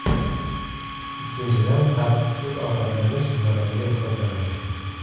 Ikkinchidan, tartibsiz ovqatlanish zararli hisoblanadi.